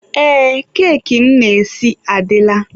Ee, keki m na-esi adịla.